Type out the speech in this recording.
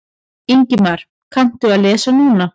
Ingimar: Kanntu að lesa núna?